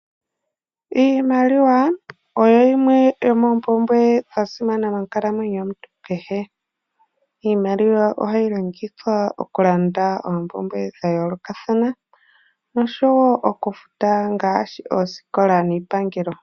Iimaliwa oyo yimwe yo mompumbwe dhasimana monkalamwenyo yomuntu kehe. Iimaliwa ohayi longikidhwa okulanda ompumbwe dhayolokathana oshowo okufuta ngashi ooskola niipangelo.